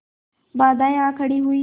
बाधाऍं आ खड़ी हुई